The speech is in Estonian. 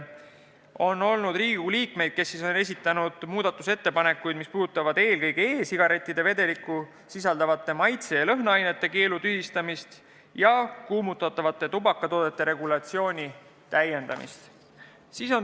Mõned Riigikogu liikmed on esitanud muudatusettepanekuid, mis puudutavad e-sigarettide vedelikus sisalduvate maitse- ja lõhnaainete keelu tühistamist ja kuumutatavate tubakatoodete regulatsiooni täiendamist.